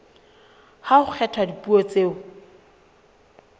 ha ho kgethwa dipuo tseo